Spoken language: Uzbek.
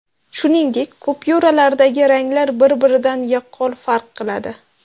Shuningdek, kupyuralardagi ranglar bir-biridan yaqqol farq qiladi.